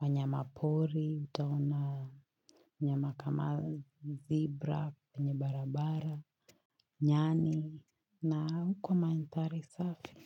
wanyama pori, tuna nyama kama, zebra, nye barabara, nyani, na hukua manthari safi.